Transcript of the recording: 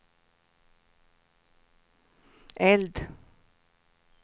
eld